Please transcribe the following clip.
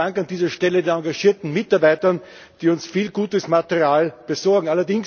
Besten Dank an dieser Stelle den engagierten Mitarbeitern, die uns viel gutes Material besorgen!